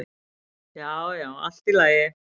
Já, já, allt í lagi